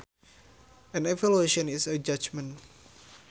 An evaluation is a judgement